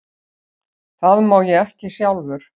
Það má ég ekki sjálfur.